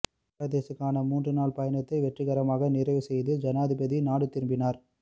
பங்களாதேஷத்துக்கான மூன்று நாள் பயணத்தை வெற்றிகரமாக நிறைவுசெய்து ஜனாதிபதி நாடு திரும்பினார்